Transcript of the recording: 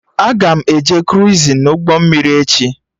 Aga m eje kruizin na ụgbọ mmiri echi